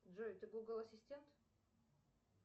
джой ты гугл ассистент